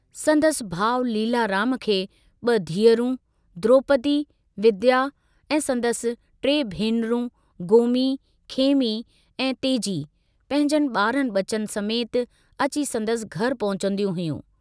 संदसि भाउ लीलाराम खे ब धीअरूं, द्रोपदी, विद्या ऐं संदसि टे भेनरुं गोमी, खेमी ऐं तेजी पंहिजन बारनि बचनि समेत अची संदसि घर पहुचंदियूं हुयूं।